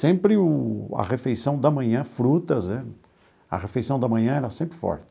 Sempre o a refeição da manhã, frutas né, a refeição da manhã era sempre forte.